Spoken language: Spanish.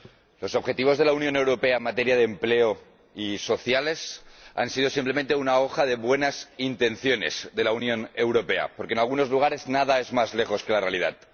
Señora Presidenta, los objetivos de la Unión Europea en materia de empleo y sociales han sido simplemente una hoja de buenas intenciones de la Unión Europea, porque, en algunos lugares, no pueden estar más lejos de la realidad.